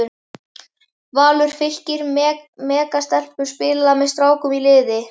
Valur- Fylkir- Mega stelpur spila með strákum í liði?